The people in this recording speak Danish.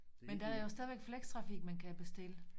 Men der er jo stadig flextrafik man kan bestille